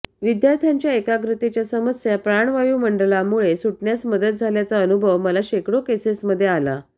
विद्यार्थ्यांच्या एकाग्रतेच्या समस्या प्राणवायू मंडलामुळे सुटण्यास मदत झाल्याचा अनुभव मला शेकडो केसेसमध्ये आला